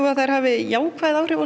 að þær hafi jákvæð áhrif á